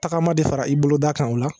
Tagama de fara i boloda kan o la